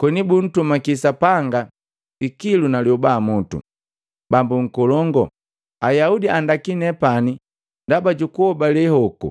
koni buntumaki sapanga ikilu na lioba mutu. Bambo nkolongu, Ayaudi andaki nepani ndaba jukuhobale hoko!